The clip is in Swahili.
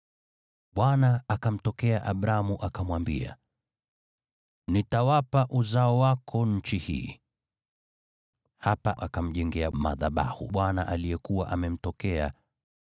Bwana akamtokea Abramu, akamwambia, “Nitawapa uzao wako nchi hii.” Hivyo hapa akamjengea madhabahu Bwana aliyekuwa amemtokea.